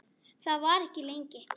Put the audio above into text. En þar var ekki lengi.